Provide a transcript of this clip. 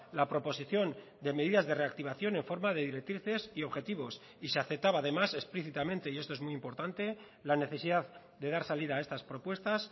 la proposición de medidas de reactivación en forma de directrices y objetivos y se aceptaba además explícitamente y esto es muy importante la necesidad de dar salida a estas propuestas